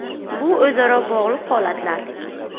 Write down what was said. “Bu o‘zaro bog‘liq holatlar.